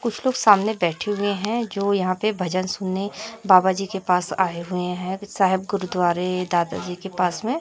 कुछ लोग सामने बैठे हुए हैं जो यहां पे भजन सुनने बाबा जी के पास आए हुए हैं साहेब गुरुद्वारे दादाजी के पास में।